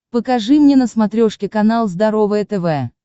покажи мне на смотрешке канал здоровое тв